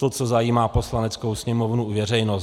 To, co zajímá Poslaneckou sněmovnu i veřejnost.